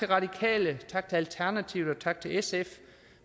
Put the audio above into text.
radikale og tak til alternativet og tak til sf